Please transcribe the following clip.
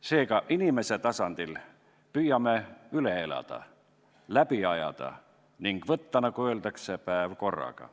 Seega inimese tasandil püüame üle elada, läbi ajada ning võtta, nagu öeldakse, päev korraga.